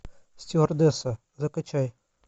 стюардесса закачай